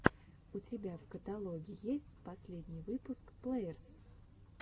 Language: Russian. у тебя в каталоге есть последний выпуск плеерс